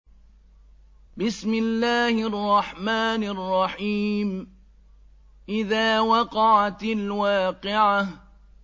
إِذَا وَقَعَتِ الْوَاقِعَةُ